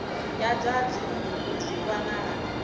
ya zwa dzinnu zwi wanala